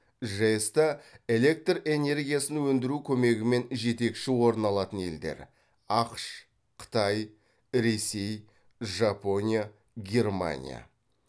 жэс та электр энергиясын өндіру көмегімен жетекші орын алатын елдер ақш қытай ресей жапония германия